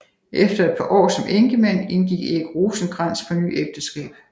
Efter et par år som enkemand indgik Erik Rosenkrantz på ny ægteskab